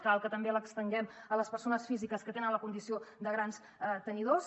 cal que també l’estenguem a les persones físiques que tenen la condició de grans tenidors